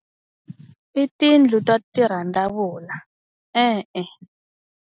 I tiyindlu ta tirhandzavula e-e.